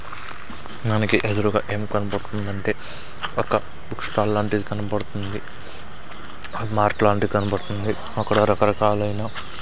మనకి ఎదురుగా ఏం కనబడ్తుందంటే ఒక బుక్ స్టాల్ లాంటిది కన్బడ్తుంది మార్ట్ లాంటిది కన్బడ్తుంది అక్కడ రకరకాలైన --